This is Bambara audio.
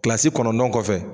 Kilasi kɔnɔndɔn kɔfɛ